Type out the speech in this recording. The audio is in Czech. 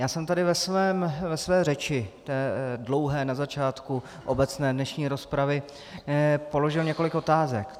Já jsem tady ve své řeči, dlouhé, na začátku dnešní obecné rozpravy položil několik otázek.